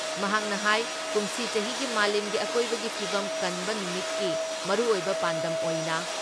ꯃꯍꯥꯛꯅ ꯍꯥꯏ ꯀꯨꯝꯁꯤ ꯆꯍꯤꯒꯤ ꯃꯥꯂꯦꯝꯒꯤ ꯑꯀꯣꯏꯕꯒꯤ ꯐꯤꯚꯝ ꯀꯟꯕ ꯅꯨꯃꯤꯠꯀꯤ ꯃꯔꯨꯑꯣꯏꯕ ꯄꯥꯟꯗꯝ ꯑꯣꯏꯅ